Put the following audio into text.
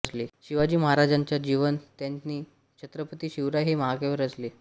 शिवाजी महाराजांच्या जीवन त्यांनी छत्रपती शिवराय हे महाकाव्य रचले